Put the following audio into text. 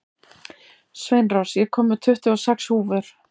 Sveinrós, ég kom með tuttugu og sex húfur!